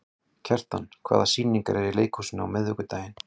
Kjartan, hvaða sýningar eru í leikhúsinu á miðvikudaginn?